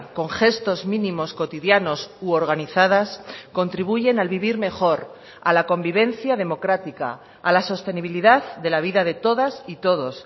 con gestos mínimos cotidianos u organizadas contribuyen al vivir mejor a la convivencia democrática a la sostenibilidad de la vida de todas y todos